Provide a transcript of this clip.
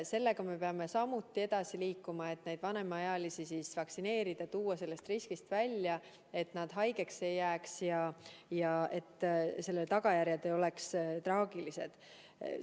Sellega me peame samuti edasi liikuma, et vanemaealisi vaktsineerida, tuua nad sellest riskist välja, et nad haigeks ei jääks ja et selle tagajärjed ei oleks traagilised.